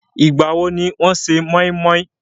Ìgbàwo ni wọ́n se moinmoin?